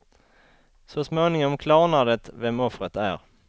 Så småningom klarnar det vem offret är.